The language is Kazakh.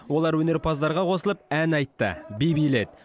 олар өнерпаздарға қосылып ән айтты би биледі